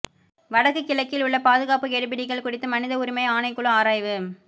வடக்கு கிழக்கில் உள்ள பாதுகாப்பு கெடுபிடிகள் குறித்து மனித உரிமை ஆணைக்குழு ஆராய்வு